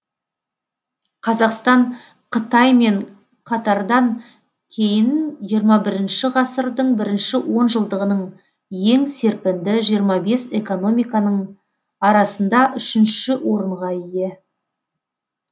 қазақстан қытай мен катардан кейін жиырма бірінші ғасырдың бірінші онжылдығының ең серпінді жиырма бес экономиканың арасында үшінші орынға ие